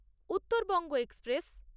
Uttarbanga express